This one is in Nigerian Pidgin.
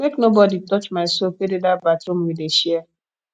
make nobodi touch my soap wey dey dat bathroom we dey share